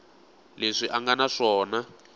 leswi a nga na swona